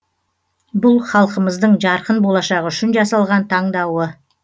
бұл халқымыздың жарқын болашағы үшін жасалған таңдауы